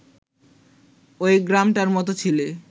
ওই গ্রামটার মত ছিলে